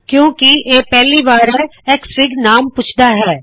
ਕਿਉ ਕਿ ਇਹ ਪਹਿਲੀ ਵਾਰ ਹੈ ਐਕਸਐਫਆਈਜੀ ਨਾਮ ਪੁੱਛਦਾ ਹੈ